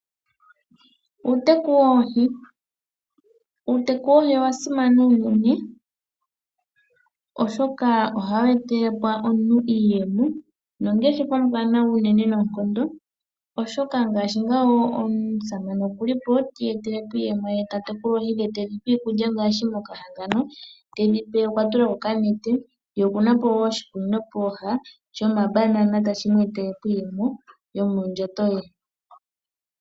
Uuteku woohi, uuteku woohi owa simana unene oshoka ohawu etekole ko aantu iiyemo oshoka ngaash ngawo omusamane okuli po ta tekula oohi ti iyetele iiyemono ye tedhi pe iikulya ngaashi okwa tula ko okanete ye okuna ko wo oshikunnino pooha shomabanana tashi vulu shimu etele iiyemo yomondhato ye.